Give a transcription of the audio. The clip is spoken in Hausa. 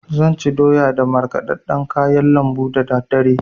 Zan ci doya da markɗaɗɗan kayan lambu dadaddare.